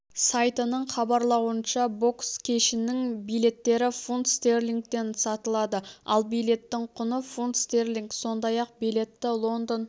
сайтының хабарлауынша бокс кешінің билеттері фунт стерлингтен сатылады ал билеттің құны фунт стерлинг сондай-ақ билетті лондон